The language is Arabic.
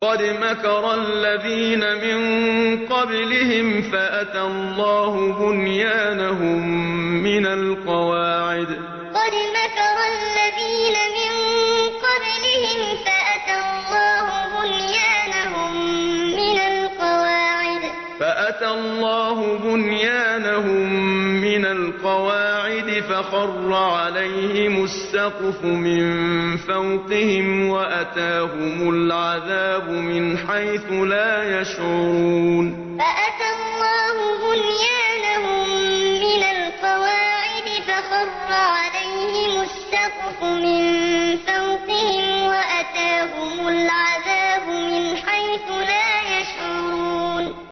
قَدْ مَكَرَ الَّذِينَ مِن قَبْلِهِمْ فَأَتَى اللَّهُ بُنْيَانَهُم مِّنَ الْقَوَاعِدِ فَخَرَّ عَلَيْهِمُ السَّقْفُ مِن فَوْقِهِمْ وَأَتَاهُمُ الْعَذَابُ مِنْ حَيْثُ لَا يَشْعُرُونَ قَدْ مَكَرَ الَّذِينَ مِن قَبْلِهِمْ فَأَتَى اللَّهُ بُنْيَانَهُم مِّنَ الْقَوَاعِدِ فَخَرَّ عَلَيْهِمُ السَّقْفُ مِن فَوْقِهِمْ وَأَتَاهُمُ الْعَذَابُ مِنْ حَيْثُ لَا يَشْعُرُونَ